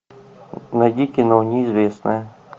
найди кино неизвестная